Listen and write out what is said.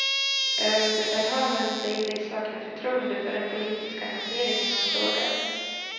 Överbefälhavaren säger sig sakna förtroende för den politiska hanteringen av frågan.